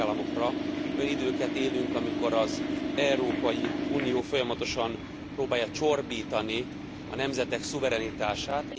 Olyan időket élünk, amikor az Európai Unió folyamatosan próbálja csorbítani a nemzetek szuverenitását.